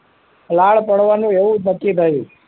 લાળ પડવાનું એવું નક્કી થયું